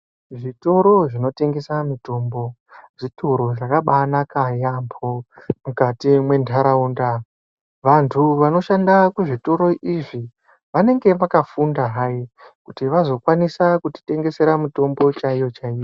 Zvitoro zvinotengesa mitombo zvitoro zvakabanaka yaambo mukati mwendaraunda vantu vanoshanda kuzvitoro izvi vanenge vakafunda hai kuti vazokwanisa kutitengesera mitombo chaiwo chaiwo.